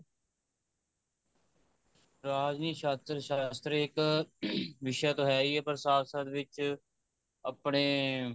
ਰਾਜਨੀਤੀ ਸ਼ਾਸ਼ਤਰ ਸ਼ਾਸ਼ਤ੍ਰਿਕ ing ਵਿਸ਼ਾ ਤਾਂ ਹੈ ਹੀ ਹੈ ਪਰ ਸੰਸਦ ਵਿੱਚ ਆਪਣੇ